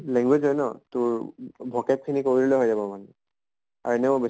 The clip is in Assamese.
language হয় ন তʼ vocab খিনি কৰিলে হৈ যাব মানে। আৰু এনেও বেছি